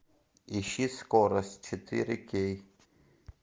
ищи скорость четыре кей